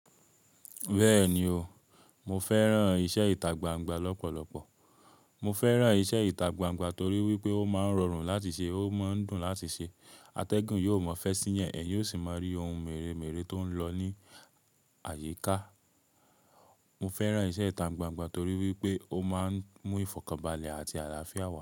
Bẹ́ẹ̀ni o, mo fẹ́ran iṣẹ́ ìtagbangba lọ́pọ̀lọpọ̀. Mo fẹ́ran iṣẹ́ ìtagbangba torí wípé ó máa ń rọrùn láti ṣe, ó máa ń dùn láti ṣe. Atẹ́gùn yóò mọ́ fẹ́ sí eeyah, ẹ̀yin ó sì máa rí ohun mèremère tó ń lọ ní àyíká. Mo fẹ́ran iṣẹ́ ìtagbangba torí wípé ó máa ń mú ìfọ̀kànbalẹ̀ àti àlàáfíà wá.